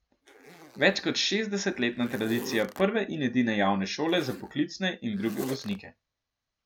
Več kot šestdesetletna tradicija prve in edine javne šole za poklicne in druge voznike.